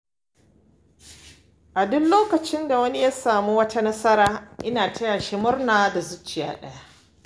A duk lokacin da wani ya samu wata nasara, ina tayashi murna da zuciya ɗaya.